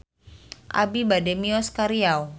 Abi bade mios ka Riau